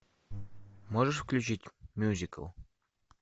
можешь включить мюзикл